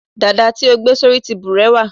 dada ti o gbe sori ti burewa